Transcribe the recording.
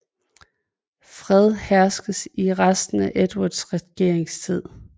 Fred herskede i resten af Edvards regeringstid